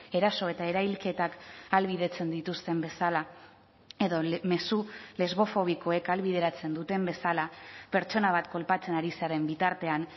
eraso eta erailketak ahalbidetzen dituzten bezala edo mezu lesbofobikoek ahalbideratzen duten bezala pertsona bat kolpatzen ari zaren bitartean